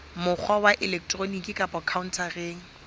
mokgwa wa elektroniki kapa khaontareng